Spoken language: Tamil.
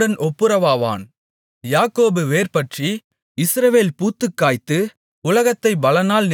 யாக்கோபு வேர்பற்றி இஸ்ரவேல் பூத்துக்காய்த்து உலகத்தைப் பலனால் நிரப்பும் நாட்கள் வரும்